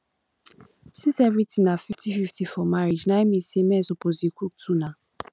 since everything be fifty fifty for marriage now e mean say men suppose dey cook too nah